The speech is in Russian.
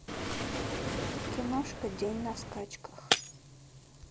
киношка день на скачках